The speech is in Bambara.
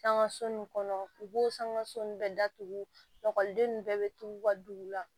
Sangaso in kɔnɔ u b'o sanga so nun bɛɛ datugu ninnu bɛɛ bɛ tugu u ka dugu la